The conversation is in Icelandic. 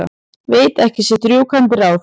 Veit ekki sitt rjúkandi ráð.